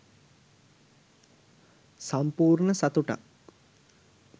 සම්පූර්ණ සතුටක්